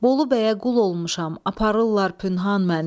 Bolu bəyə qul olmuşam, aparırlar pünhan məni."